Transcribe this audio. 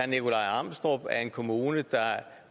en kommune der